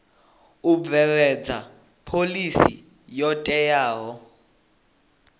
u bveledza phoḽisi yo teaho